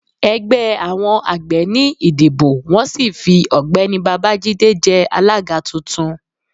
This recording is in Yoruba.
ẹgbẹ àwọn àgbẹ̀ ní ìdibọ wọn sì fí ọgbẹni bábájídé jé alága tuntun